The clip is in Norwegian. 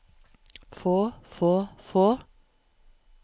få få få